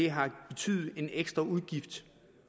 har betydet en ekstra udgift